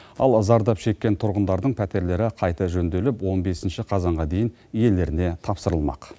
ал зардап шеккен тұрғындардың пәтерлері қайта жөнделіп он бесінші қазанға дейін иелеріне тапсырылмақ